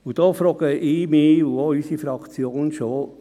Und da frage ich mich und auch unsere Fraktion schon: